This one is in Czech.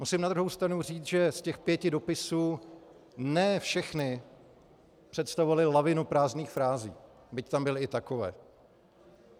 Musím na druhou stranu říct, že z těch pěti dopisů ne všechny představovaly lavinu prázdných frází, byť tam byly i takové.